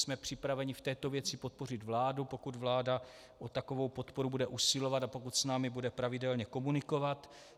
Jsme připraveni v této věci podpořit vládu, pokud vláda o takovou podporu bude usilovat a pokud s námi bude pravidelně komunikovat.